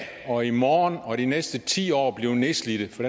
og i morgen og de næste ti år bliver nedslidt for